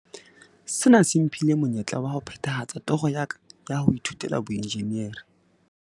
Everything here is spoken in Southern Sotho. "Sena se mphile monyetla wa ho phethahatsa toro ya ka ya ho ithutela boenjinere."